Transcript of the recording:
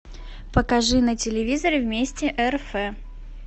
покажи на телевизоре вместе рф